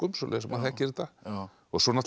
svoleiðis að maður þekkir þetta svo